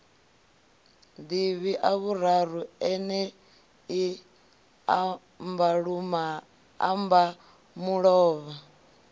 ḓivhi ḽavhuraru ḽeneḽi ḽa mbamulovha